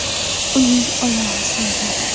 Uning oyog‘i singan.